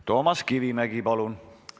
Toomas Kivimägi, palun!